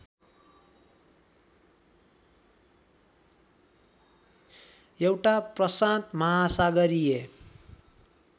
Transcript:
एउटा प्रशान्त महासागरीय